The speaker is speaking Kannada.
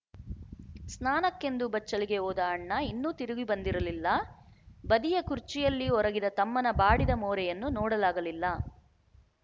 ಸ್ನಾನಕ್ಕೆಂದು ಬಚ್ಚಲಿಗೆ ಹೋದ ಅಣ್ಣ ಇನ್ನೂ ತಿರುಗಿ ಬಂದಿರಲಿಲ್ಲ ಬದಿಯ ಖುರ್ಚಿಯಲ್ಲಿ ಒರಗಿದ ತಮ್ಮನ ಬಾಡಿದ ಮೋರೆಯನ್ನು ನೋಡಲಾಗಲಿಲ್ಲ